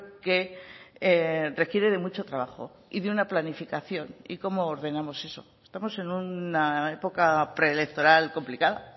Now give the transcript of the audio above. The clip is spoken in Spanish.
que requiere de mucho trabajo y de una planificación y cómo ordenamos eso estamos en una época preelectoral complicada